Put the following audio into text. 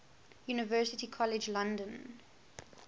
university college london